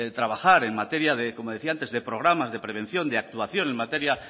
trabajar en materia de programas de prevención de actuación en materia